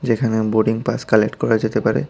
যেখানে উম boarding pass collect করা যেতে পারে।